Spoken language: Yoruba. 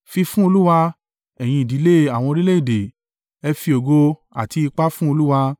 Fi fún Olúwa, ẹ̀yin ìdílé àwọn orílẹ̀-èdè, ẹ fi ògo àti ipá fún Olúwa.